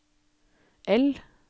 L